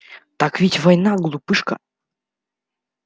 так ведь война глупышка